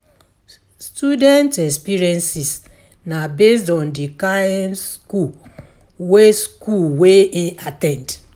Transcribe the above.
Student experiences na based on di kind school wey im at ten d